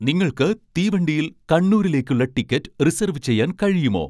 നിങ്ങൾക്ക് തീവണ്ടിയിൽ കണ്ണൂരിലേക്കുള്ള ടിക്കറ്റ് റിസർവ് ചെയ്യാൻ കഴിയുമോ